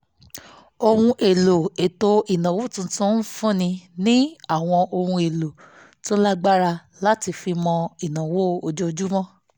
ohun èlò ètò ìnáwó tuntun fúnni ní àwọn ohun èlò tó lágbára láti fi mọ ìnáwó ojoojúmọ́